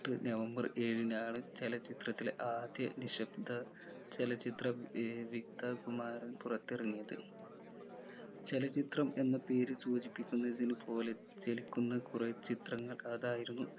എട്ടു നവംബർ ഏഴിനാണ് ചലച്ചിത്രത്തിലെ ആദ്യ നിശബ്ദ ചലച്ചിത്രം ഏർ വികതകുമാരൻ പുറത്തിറങ്ങിയത് ചലച്ചിത്രം എന്ന പേര് സൂചിപ്പിക്കുന്നതിന് പോലെ ചലിക്കുന്ന കുറെ ചിത്രങ്ങൾ അതായിരുന്നു